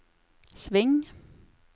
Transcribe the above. sving